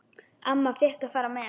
Amma fékk að fara með.